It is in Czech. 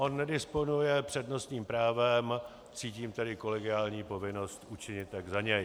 On nedisponuje přednostním právem, cítím tedy kolegiální povinnost učinit tak za něj.